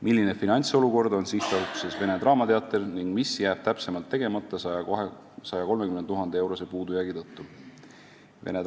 "Milline finantsolukord on SA-s Vene Draamateater ning mis jääb täpsemalt tegemata 130 000 €-se puudujäägi tõttu?